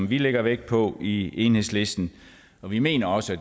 vi lægger vægt på i enhedslisten og vi mener også